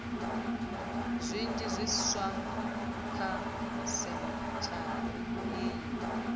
zwinzhi zwiswa kha sentshari iyi